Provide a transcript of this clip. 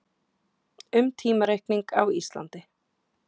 um tímareikning á íslandi